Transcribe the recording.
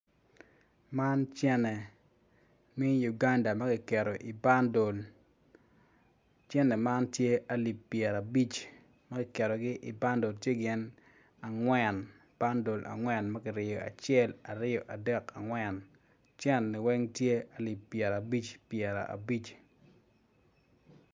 Man cene mi Uganda ma kiketo i bandol cene man tye alip pyera abic ma kiketogi i bandol tye gin angwen bandol angwen ma ki ryeyo acel aryo adek angwen cene-ni weny tye alip pyera abic abic